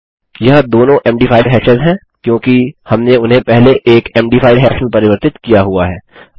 यह दोनों MD5 hashes हैं क्योंकि हमने उन्हें पहले एक मद5 हाश में परिवर्तित किया हुआ है